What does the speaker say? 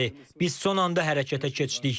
Biz son anda hərəkətə keçdik.